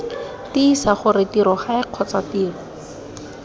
tiisa gore tirogae kgotsa tiro